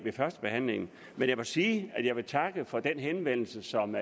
førstebehandlingen men jeg må sige at jeg vil takke for den henvendelse som